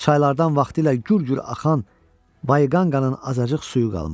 Çaylardan vaxtilə gür-gür axan Bayqanqanın azacıq suyu qalmışdı.